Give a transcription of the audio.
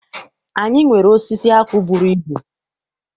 Anyị nwere osisi akwụ bụrụ ibu.